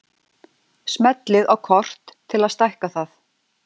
Smellið á kort til að stækka það.